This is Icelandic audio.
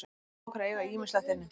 Við teljum okkur eiga ýmislegt inni.